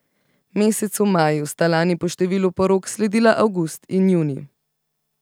Mesecu maju sta lani po številu porok sledila avgust in junij.